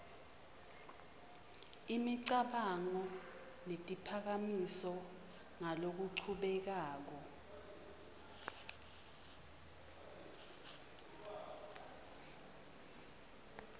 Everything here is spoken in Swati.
imicabango netiphakamiso ngalokuchubekako